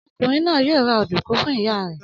Ọmọkùnrin náà yóò ra ọ̀dùnkún fún ìyá rẹ̀.